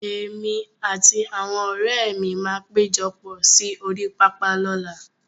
Èmi àti àwọn ọ̀rẹ́ mi máa péjọpọ̀ sí orí pápá lọ́làá.